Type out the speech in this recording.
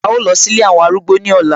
A ó lọ sí Ilé àwọn arúgbó ní ọ̀la